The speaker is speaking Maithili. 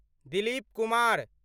दिलीप कुमार